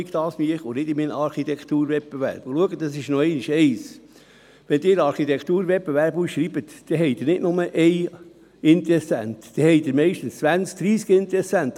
Und noch etwas: Wenn Sie einen Architekturwettbewerb ausschreiben, erhalten Sie nicht nur einen Interessenten, sondern meistens zwanzig bis dreissig.